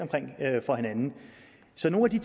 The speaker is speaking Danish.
for hinanden så nogle